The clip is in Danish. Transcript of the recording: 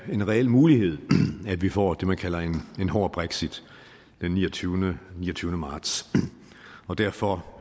en reel mulighed at vi får det man kalder en hård brexit den niogtyvende niogtyvende marts og derfor